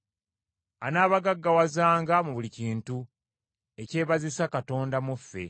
Anaabagaggawazanga mu buli kintu, ekyebazisa Katonda mu ffe.